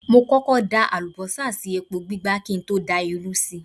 Mo kọ́kọ́ da àlùbọ́sà sí epo gbígbá kí n tó da irú sí i.